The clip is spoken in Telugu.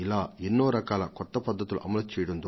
ఇలా అనేక రకాల కార్యక్రమాలను వారు అనుసరించారు